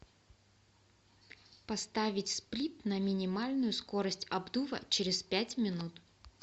поставить сплит на минимальную скорость обдува через пять минут